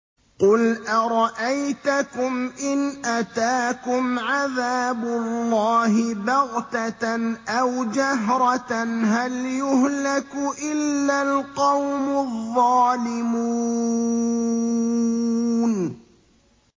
قُلْ أَرَأَيْتَكُمْ إِنْ أَتَاكُمْ عَذَابُ اللَّهِ بَغْتَةً أَوْ جَهْرَةً هَلْ يُهْلَكُ إِلَّا الْقَوْمُ الظَّالِمُونَ